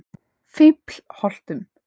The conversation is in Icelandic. Fíflholtum